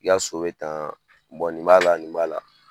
I ka so bɛ tan nin b'a la nin b'a la.